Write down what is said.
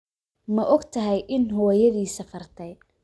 Ma ogtahay in hooyadii safartay?